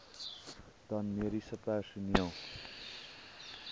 dan mediese personeel